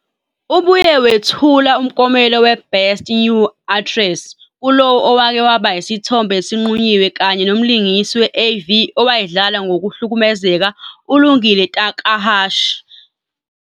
Ubuye wethula umklomelo we- "Best New Actress" kulowo owake waba yisithombe esinqunyiwe kanye nomlingisi we-AV owayedlala ngokuhlukumezeka uLungile Takahashi.